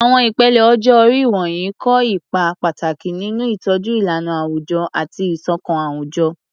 Àwọn ìpele ọjọ́ orí wọ̀nyí kó ipa pàtàkì nínú ìtọ́jú ìlànà àwùjọ àti ìṣọ̀kan àwùjọ.